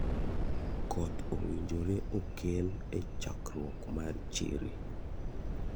Koth owinjore okel e chakruok mar chiri.